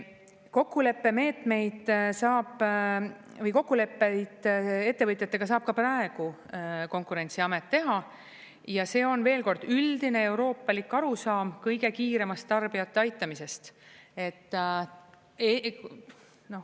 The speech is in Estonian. Kokkuleppemeetmeid või kokkuleppeid ettevõtjatega saab ka praegu Konkurentsiamet teha ja see on, veel kord, üldine euroopalik arusaam kõige kiiremast tarbijate aitamisest.